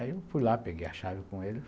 Aí eu fui lá, peguei a chave com ele.